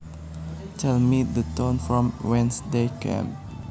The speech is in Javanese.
Tell me the town from whence they came